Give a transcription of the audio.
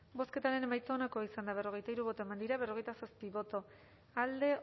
bozketaren emaitza onako izan da berrogeita hiru eman dugu bozka berrogeita zazpi boto alde